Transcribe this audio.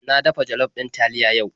Na dafa jollof ɗin taliya yau.